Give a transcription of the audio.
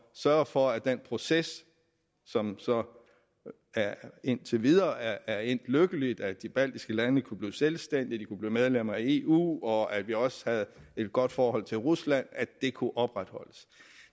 sørge for at den proces som så indtil videre er endt lykkeligt at de baltiske lande kunne blive selvstændige de kunne blive medlemmer af eu og at vi også havde et godt forhold til rusland kunne opretholdes